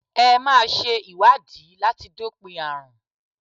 Ẹ máa ṣe ìwádìí láti dópin àrùn.